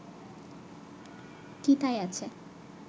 কি তাই আছে